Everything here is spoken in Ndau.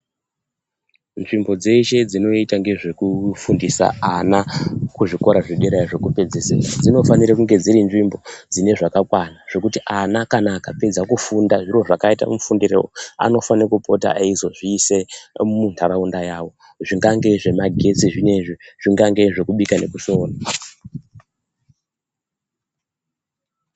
Nzvimbo dzeshe dzinoita ngezvekufundisa ana kuzvikora iyo zvekupedzisira dzinofanire kunge dziri nzvimbo dzine zvakakakwa zvekuti ana kana akapedza kufunda zviro zvakaita mufundirowo anofana kupota eizozviise muntaraunda yawo zvingange zvemagetsi zvinezvi, zvingange zvekubika nekusona.